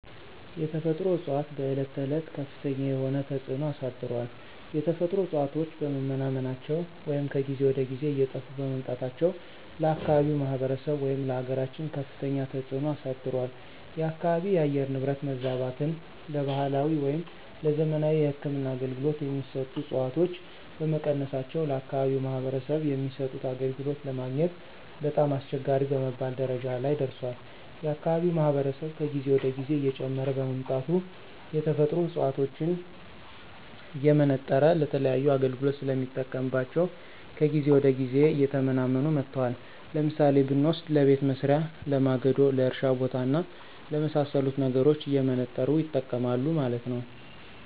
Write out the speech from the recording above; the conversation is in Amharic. የተፈጥሮ እፅዋቶች በዕለት ተዕለት ከፍተኛ የሆነ ተፅዕኖ አሳድሯል። የተፈጥሮ እፅዋቶች በመመናመናቸው ወይም ከጊዜ ወደ ጊዜ እየጠፉ በመምጣታቸው ለአካባቢው ማህበረሰብ ወይም ለአገራችን ከፍተኛ ተፅዕኖ አሳድሯል። የአካባቢው የአየር ንብረት መዛባትን ለባህላዊ ወይም ለዘመናዊ የህክምና አገልገሎት የሚሰጡ ዕፅዋቶች በመቀነሳቸው ለአከባቢው ማህበረሰብ የሚሰጡት አገልግሎት ለማግኘት በጣም አስቸጋሪ በመባል ደረጃ ላይ ደርሷል። የአካባቢው ማህበረሰብ ከጊዜ ወደ ጊዜ እየጨመረ በመምጣቱ የተፈጥሮ ዕፅዋቶችን እየመነጠረ ለተለያዩ አገልግሎት ስለሚጠቀምባቸው ከጊዜ ወደ ጊዜ እየተመናመኑ መጥተዋል። ለምሳሌ ብንወስድ ለቤት መሥሪያ፣ ለማገዶ፣ ለእርሻ ቦታ እና ለመሣሰሉት ነገሮች እየመነጠሩ ይጠቀማሉ ማለት ነው።